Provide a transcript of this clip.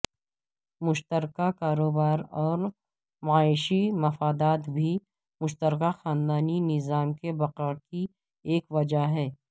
مشترکہ کاروبار اور معاشی مفادات بھی مشترکہ خاندانی نظام کے بقا کی ایک وجہ ہیں